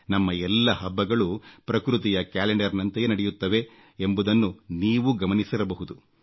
ನಮ್ಮ ಎಲ್ಲ ಹಬ್ಬಗಳೂ ಪ್ರಕೃತಿಯ ಕ್ಯಾಲೆಂಡರ್ನಂತೆಯೇ ನಡೆಯುತ್ತವೆ ಎಂಬುದನ್ನು ನೀವೂ ಗಮನಿಸಿರಬಹುದು